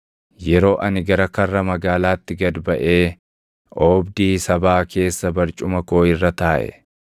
“Yeroo ani gara karra magaalaatti gad baʼee oobdii sabaa keessa barcuma koo irra taaʼe,